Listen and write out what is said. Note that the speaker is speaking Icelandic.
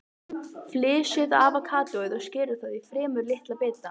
Flysjið avókadóið og skerið það í fremur litla bita.